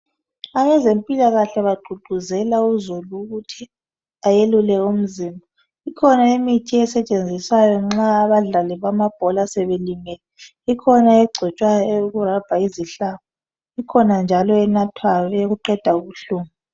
Abezempilakahle bagqugquzela uzulu ukuthi ayelule umzimba. Ikhona imithi esetshenziswayo nxa abadlali bamabhola sebelimele. Ikhona egcotshwayo eyokurabha izihlabo ikhona njalo enathwayo eyokuqeda ubuhlungu.